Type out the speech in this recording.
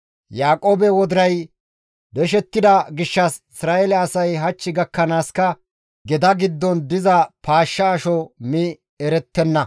Yaaqoobe wodiray deshettida gishshas Isra7eele asay hach gakkanaaska geda giddon diza paashsha asho mi erettenna.